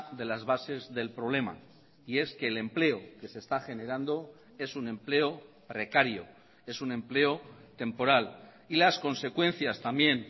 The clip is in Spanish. de las bases del problema y es que el empleo que se está generando es un empleo precario es un empleo temporal y las consecuencias también